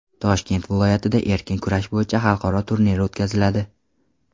Toshkent viloyatida erkin kurash bo‘yicha xalqaro turnir o‘tkaziladi.